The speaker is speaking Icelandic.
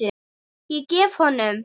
Ég gef honum